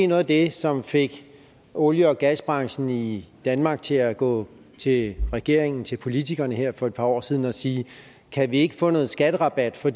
noget af det som fik olie og gasbranchen i danmark til at gå til regeringen til politikerne her for et par år siden og sige kan vi ikke få noget skatterabat for